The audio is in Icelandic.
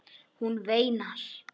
Hún veinar.